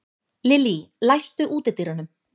Lillý, læstu útidyrunum.